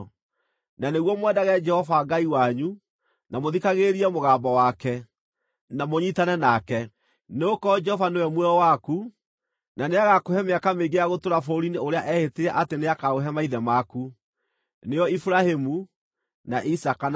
na nĩguo mwendage Jehova Ngai wanyu, na mũthikagĩrĩrie mũgambo wake, na mũnyiitane nake. Nĩgũkorwo Jehova nĩwe muoyo waku, na nĩagakũhe mĩaka mĩingĩ ya gũtũũra bũrũri-inĩ ũrĩa eehĩtire atĩ nĩakaũhe maithe maku, nĩo Iburahĩmu, na Isaaka, na Jakubu.